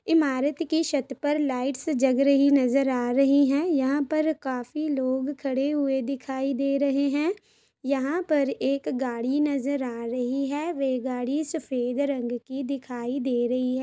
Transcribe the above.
इमारत की छत पर लाइट्स जग रही नज़र आ रही है यहां पर काफी लोग खड़े हुए दिखाई दे रहे है यहाँ पर एक गाड़ी नज़र आ रही है वे गाड़ी सफ़ेद रंग की दिखाई दे रही हैं ।